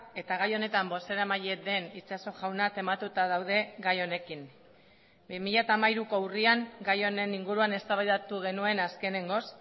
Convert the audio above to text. eta gai honetan bozeramaile den itxaso jauna tematuta daude gai honekin bi mila hamairuko urrian gai honen inguruan eztabaidatu genuen azkenengoz